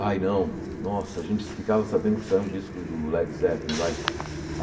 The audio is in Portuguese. Ai não, nossa, a gente ficava sabendo que saiu um disco do Led Zeppelin, vai.